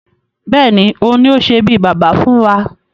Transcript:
Bẹ́ẹ̀ni, òun ni ó sé bí Baba fún wa